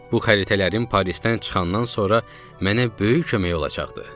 Bu xəritələrin Parisdən çıxandan sonra mənə böyük kömək olacaqdı.